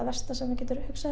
versta sem þú getur hugsað